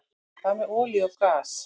Hvað með olíu og gas?